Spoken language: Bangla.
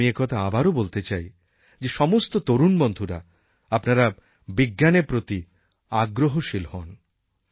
আমি একথা আবারও বলতে চাই যে সমস্ত তরুণ বন্ধুরা আপনারা বিজ্ঞানের প্রতি আগ্রহশীল হন